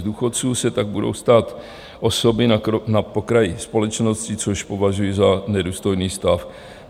Z důchodců se tak budou stávat osoby na okraji společnosti, což považuji za nedůstojný stav.